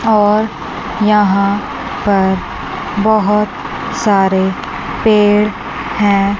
और यहां पर बहोत सारे पेड़ हैं।